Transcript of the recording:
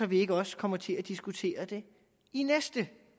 vi ikke også kommer til at diskutere det i næste